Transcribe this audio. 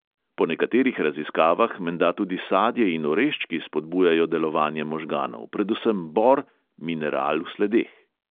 Po nekaterih raziskavah menda tudi sadje in oreščki spodbujajo delovanje možganov, predvsem bor, mineral v sledeh.